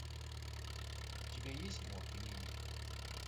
у тебя есть морк и минди